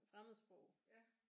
Fremmedsprog